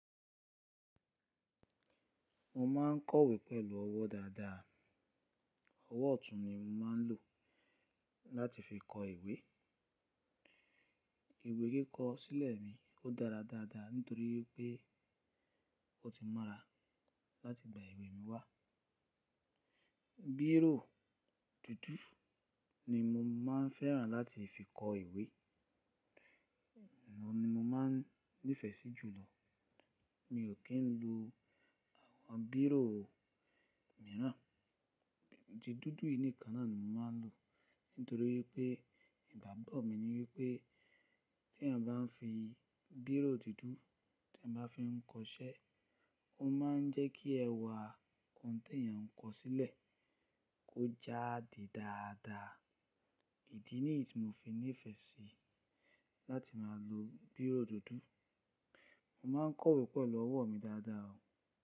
Mo ma ń kọ ìwé pẹ̀lú ọwọ́ dáadáa. Ọwọ́ ọ̀tún ni mo máa ń lò láti fi kọ ìwé. Ìwé kí kọ sílẹ̀ mi, ó dára dáadáa nítorí pé ó ti mọ́ra láti gba ìwé mi wá. Bírò dúdú ni mo máa ń fẹ́ràn láti fi kọ ìwé, nà ni mo máa ń nífẹ̀ẹ́ sí jùlọ. Mi ò kí ń lo àwọn bírò mìíràn, tí dúdú nìkan náà ni mo máa ń lò. Nítorí pé ìgbágbọ́ mi ni wí pé tí eyan bá ń fi bírò dúdú, tí ẹ bá fi ń kọ iṣẹ́, ó máa ń jẹ́ kí ẹwà ohun tí eyan ń kọ sílẹ̀, kó jáde dáadáa. Ìdí nìyí ti mo fi nífẹ̀ẹ́ sí láti máa lo bírò dúdú. Mo máa ń kọ ìwé pẹ̀lú ọwọ́ mi dáadáa o.